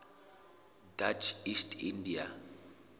dutch east india